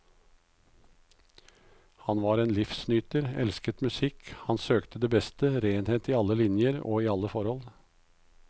Han var en livsnyter, elsket musikk, han søkte det beste, renhet i alle linjer og i alle forhold.